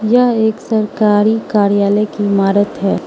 यह एक सरकारी कार्यालय की इमारत है।